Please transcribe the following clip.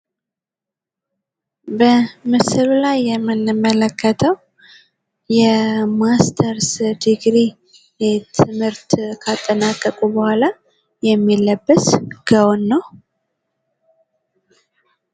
በምስሉ ላይ የምንመለከተው የማስተርስ ድግሪ ትምህርት ካጠናቀቁ በኋላ የሚለበስ ጋወን ነው።